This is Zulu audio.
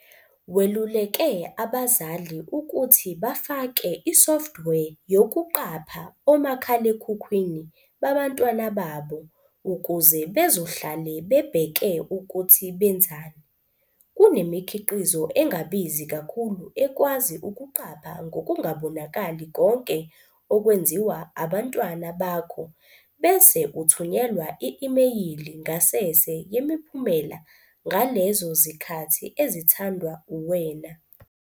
Weluleke abazali ukuthi bafake i-software yokuqapha omakhalekhukhwini babantwana babo ukuze bezohlale bebheke ukuthi benzani. "Kunemikhiqizo engabizi kakhulu ekwazi ukuqapha ngokungabonakali konke okwenziwa abantwana bakho bese uthunyelelwa i-imeyili ngasese yemiphumela ngalezo zikhathi ezithandwa uwena."